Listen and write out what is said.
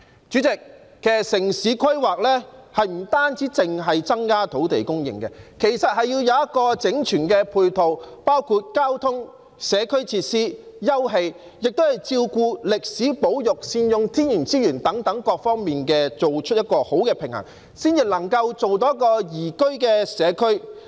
主席，城市規劃不單是增加土地供應，還要有整全的配套，包括交通、社區設施、休憩設施，亦要照顧歷史保育和善用天然資源等各方面，必須達致平衡，才能建立宜居的社區。